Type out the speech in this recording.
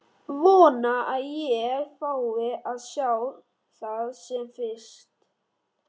Vona að ég fái að sjá það sem fyrst.